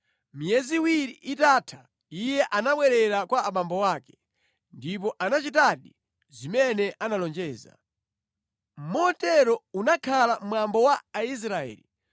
Miyezi iwiri itatha iye anabwerera kwa abambo ake, ndipo anachitadi zimene analonjeza. Motero unakhala mwambo wa Aisraeli,